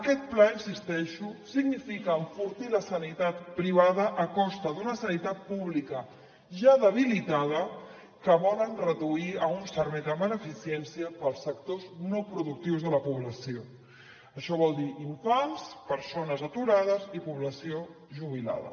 aquest pla hi insisteixo significa enfortir la sanitat privada a costa d’una sanitat pública ja debilitada que volen reduir a un servei de beneficència per als sectors no productius de la població això vol dir infants persones aturades i població jubilada